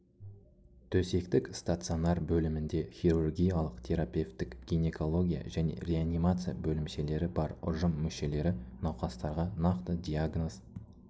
төсектік стационар бөлімінде хирургиялық терапевтік гинекология және реанимация бөлімшелері бар ұжым мүшелері науқастарға нақты диагноз